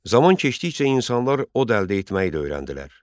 Zaman keçdikcə insanlar od əldə etməyi də öyrəndilər.